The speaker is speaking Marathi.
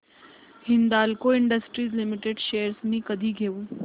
हिंदाल्को इंडस्ट्रीज लिमिटेड शेअर्स मी कधी घेऊ